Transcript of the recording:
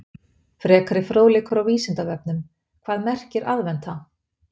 Frekari fróðleikur á Vísindavefnum: Hvað merkir aðventa?